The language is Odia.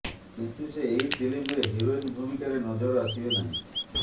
କିନ୍ତୁ ସେ ଏହି ଫିଲ୍ମରେ ହିରୋଇନ ଭୂମିକାରେ ନଜର ଆସିବେ ନାହିଁ